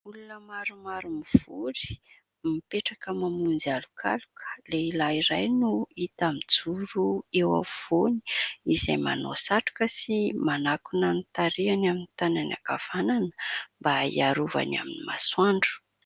Olona maromaro mivory, mipetraka mamonjy alokaloka. Lehilahy iray no hita mijoro eo afovoany izay manao satroka sy manakona ny tarehiny amin'ny tanany ankavanana mba hiarovany amin'ny masoandro.